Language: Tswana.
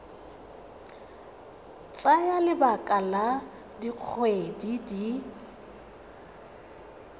tsaya lebaka la dikgwedi di